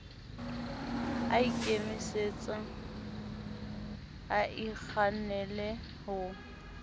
a ikemetse a ikgannale ho